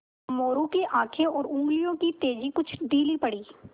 मोरू की आँखें और उंगलियों की तेज़ी कुछ ढीली पड़ी